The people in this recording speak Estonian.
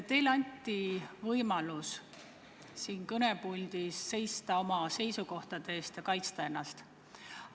Teile anti võimalus siin kõnepuldis oma seisukohtade eest seista ja ennast kaitsta.